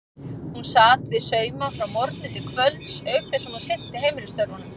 Hún sat við sauma frá morgni til kvölds auk þess sem hún sinnti heimilisstörfunum.